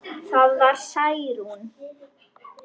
Það var Særún.